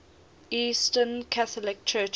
eastern catholic churches